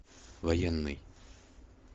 военный